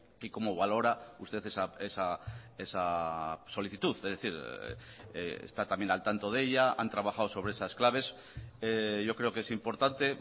qué cómo valora usted esa solicitud es decir está también al tanto de ella han trabajado sobre esas claves yo creo que es importante